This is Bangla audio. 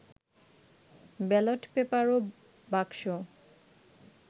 ব্যালট পেপার ও বাক্স